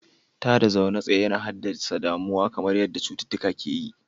Tada zaune tsaye yana haddasa damuwa kamar yadda cututtuka ke yi.